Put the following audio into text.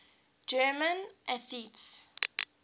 german atheists